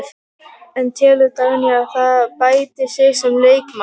En telur Dagný að það bæti sig sem leikmann?